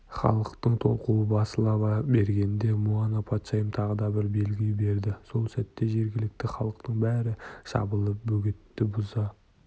халықтың толқуы басыла бергенде муана патшайым тағы да белгі берді сол сәтте жергілікті халықтың бәрі жабылып бөгетті бұза